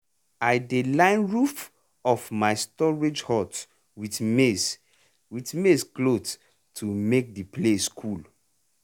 i dey line roof of my storage hut with maize with maize cloth to make the place cool.